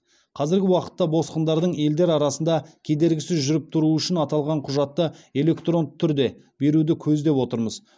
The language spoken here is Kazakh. қазіргі уақытта босқындардың елдер арасында кедергісіз жүріп тұруы үшін аталған құжатты электронды түрде беруді көздеп отырмыз